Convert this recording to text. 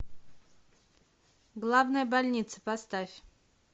главная больница поставь